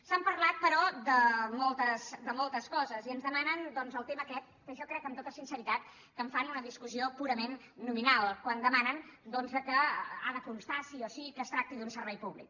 s’ha parlat però de moltes coses i ens demanen doncs el tema aquest que jo crec amb tota sinceritat que en fan una discussió purament nominal quan demanen que ha de constar sí o sí que es tracta d’un servei públic